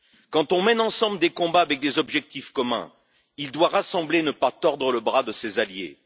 Quand on mène ensemble des combats avec des objectifs communs, il doit rassembler et ne pas tordre le bras de ses alliés.